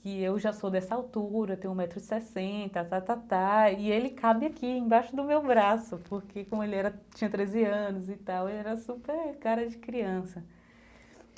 que eu já sou dessa altura, tenho um metro e sessenta, e ele cabe aqui embaixo do meu braço, porque como ele era tinha treze anos e tal, ele era super cara de criança.